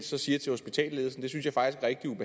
så siger til hospitalsledelsen